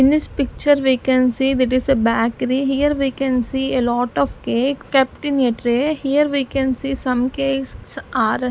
In this picture we can see it is a bakery here we can see a lot of cake kept in a tray here we can see some cakes are --